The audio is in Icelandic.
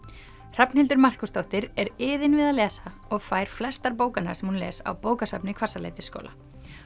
Hrafnhildur Markúsdóttir er iðin við að lesa og fær flestar bókanna sem hún les á bókasafni Hvassaleitisskóla